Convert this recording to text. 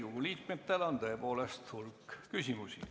Riigikogu liikmetel on tõepoolest hulk küsimusi.